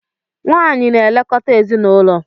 Nwanyị na-elekọta ezinaụlọ.